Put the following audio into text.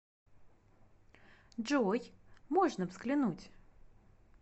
джой можно взглянуть